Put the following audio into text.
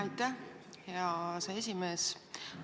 Aitäh, hea aseesimees!